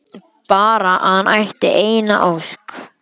Bara að hann ætti eina ósk!